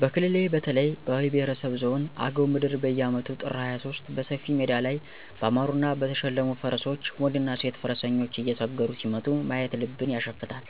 በክልሌ በተለይ በአዊ ብሄረሰብ ዞን አገው ምድር በየአመቱ ጥር 23 በሰፊ ሜዳ ላይ ባማሩና በተሸለሙ ፈረሶች ወንድና ሴት ፈረሰኞች እየሰገሩ ሲመጡ ማየት ልብን ያሸፍታል።